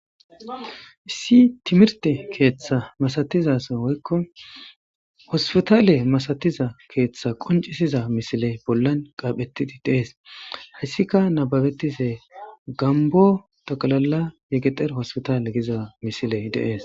Issi timirte keeththa masatizasa woykko hospitaale masatiza keeththa qoncisiza misile bollan qaaphettidi deees hayssika nababetise gambo taqalala yegexer hospitale giza misile deees